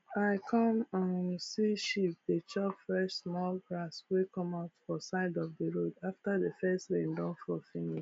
i come um see sheep dey chop fresh small grass wey come out for side of d road after d first rain don fall finish